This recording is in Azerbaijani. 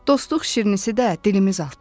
Dostluq şirnisi də dilimiz altda.